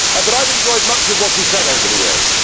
I have enjoyed much of what you have said over the years.